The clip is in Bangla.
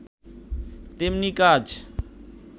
তেমনি কাজ